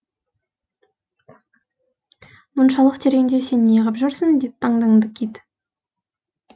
мұншалық тереңде сен неғып жүрсің деп таңданды кит